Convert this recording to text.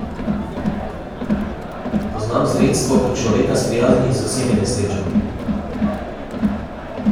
Poznam sredstvo, ki človeka sprijazni z vsemi nesrečami.